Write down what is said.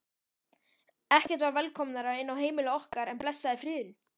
Ekkert var velkomnara inn á heimili okkar en blessaður friðurinn.